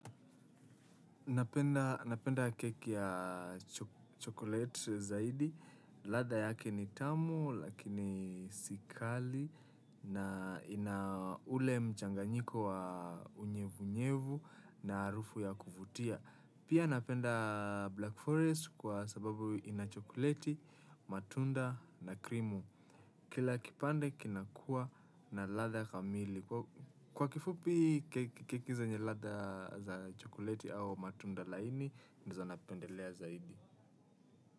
Napenda keki ya chocolate zaidi, ladha yake ni tamu lakini si kali na ina ule mchanganyiko wa unyevu nyevu na harufu ya kuvutia. Pia napenda black forest kwa sababu ina chocolate, matunda na krimu. Kila kipande kinakuwa na ladha kamili. Kwa kifupi keki zenye ladha za chokoleti au matunda laini, ndizo napendelea zaidi.